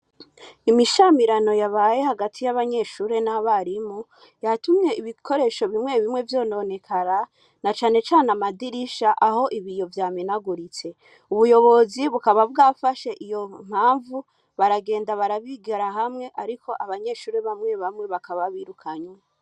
Imishamirano yabaye hati y'abanyeshure n'abarimu, yatumye ibikoresho bimwe bimwe vyononekara, na cane cane amadirisha aho ibiyo vyamenaguritse. Ubuyobozi bukaba bwafashe iyo mpamvu, baragenda barayigira hamwe ariko abanyeshure bamwe bamwe bakaba babirukanye.